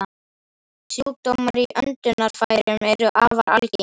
Sjúkdómar í öndunarfærum eru afar algengir.